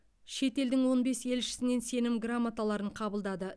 шетелдің он бес елшісінен сенім грамоталарын қабылдады